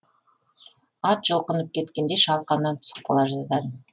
ат жұлқынып кеткенде шалқамнан түсіп қала жаздадым